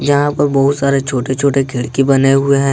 यहां पर बहुत सारे छोटे छोटे खिड़की बने हुए हैं।